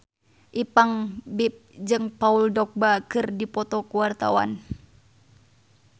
Ipank BIP jeung Paul Dogba keur dipoto ku wartawan